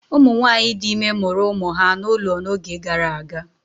Ụmụ nwanyị dị ime mụrụ ụmụ ha n'ụlọ n'oge gara aga.